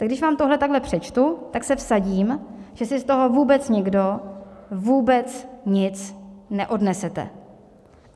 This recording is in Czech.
Tak když vám tohle takhle přečtu, tak se vsadím, že si z toho vůbec nikdo vůbec nic neodnesete.